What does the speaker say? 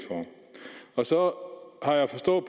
for så har jeg forstået at